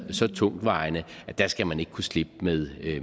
så tungtvejende at der skal man ikke kunne slippe med